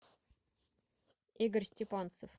игорь степанцев